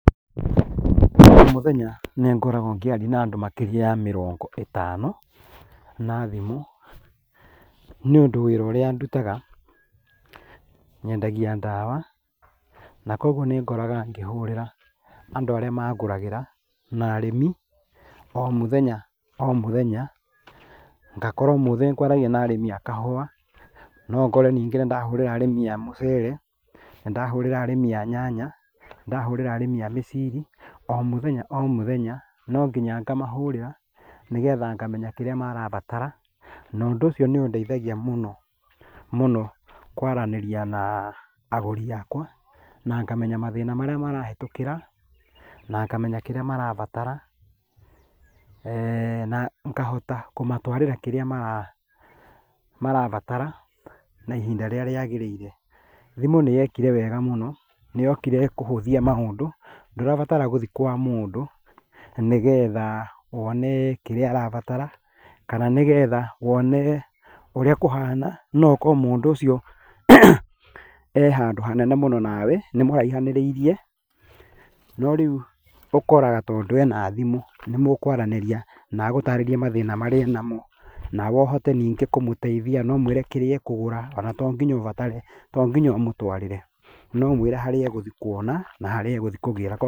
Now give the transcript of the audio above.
O mũthenya nĩ ngoragwo ngĩaria na makĩria ya andũ mĩrongo ĩtano na thimũ nĩ ũndũ wĩra ũrĩa ndutaga nyendagia ndawa na koguo nĩ ngoraga ngĩhũrĩra andũ arĩa mangũragĩra na arĩmi o mũthenya o mũthenya, ngakora ũmũthĩ ngwaragia na arĩmi a kahũa no ũkore nĩngĩ ndahũrĩra arĩmi a mũcere na ndahũrĩra arĩmi a nyanya nĩ ndahũrĩra arĩmi a mĩciri o mũthenya no nginya ngamahũrĩra nĩgetha nyamenya kĩrĩa marabatara na ũndũ ũcio nĩ ũndeithagia mũno mũno, kwaranĩria na agũri akwa na ngamenya mathĩna marĩa marahĩtũkĩra na ngamenya kĩrĩa marabatara na ngahota kũmatwarĩra kĩrĩa marabatara na ihinda rĩrĩa rĩagĩrĩire. Thimũ nĩ yekire wega mũno nĩyokire kũhũthia maũndũ, ndũrabatara gũthiĩ kwa mũndũ nĩgetha wone kĩrĩa ũrabatara kana nĩgetha wone ũrĩa kũhana no okorwo mũndũ ũcio e handũ hanene mũno nawe, nĩ mũraihanĩrĩirie no rĩu ũkoraga tondũ ena thimũ nĩ mũkaranĩria na agũtarĩrie mathĩna marĩa enamo nawe ũhote rĩngĩ kũmũteithia na ũmwere rĩngĩ kĩrĩa ekũgũra, ona to mũhaka ũbatare ona tonginya ũmũtwarĩre no ũmwĩre na harĩa egũthiĩ kũgĩra...